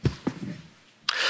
Panie Przewodniczący!